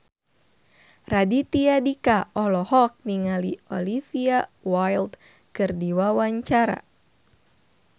Raditya Dika olohok ningali Olivia Wilde keur diwawancara